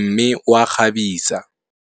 mme o a kgabisa.